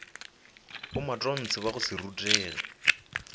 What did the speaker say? bomatontshe ba go se rutege